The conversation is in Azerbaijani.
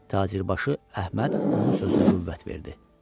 Tacirbaşı Əhməd onun sözünə qüvvət verdi.